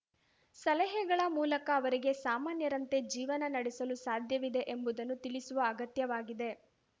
ಸಲಹೆಗಳ ಮೂಲಕ ಅವರಿಗೆ ಸಾಮಾನ್ಯರಂತೆ ಜೀವನ ನಡೆಸಲು ಸಾಧ್ಯವಿದೆ ಎಂಬುದನ್ನು ತಿಳಿಸುವ ಅಗತ್ಯವಾಗಿದೆ